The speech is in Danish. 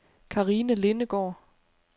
Karina Lindegaard